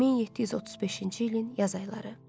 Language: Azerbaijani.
1735-ci ilin yaz ayları.